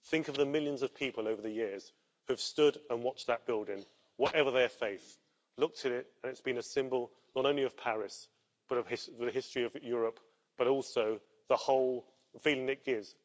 Think of the millions of people over the years who have stood and watched that building, whatever their faith, looked at it and it's been a symbol not only of Paris but of the history of Europe, but also the whole feeling it gives.